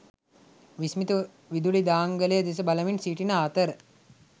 විස්මිත විදුලි දාංගලය දෙස බලමින් සිටින අතර